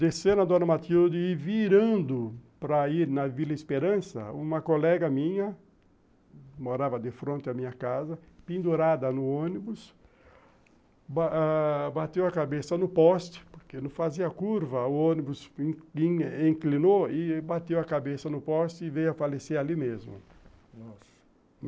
Descendo a Dona Matilde e virando para ir na Vila Esperança, uma colega minha, morava de fronte à minha casa, pendurada no ônibus, ãh bateu a cabeça no poste, porque não fazia curva, o ônibus inclinou e bateu a cabeça no poste e veio a falecer ali mesmo. Nossa!